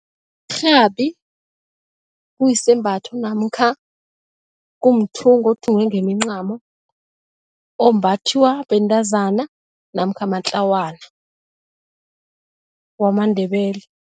Irhabi kuyisembatho namkha kumthungo othungwe ngemincamo, ombathiwa bentazana namkha matlawana wamaNdebele.